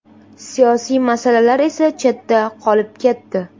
Siyosiy masalalar esa chetda qolib ketdi.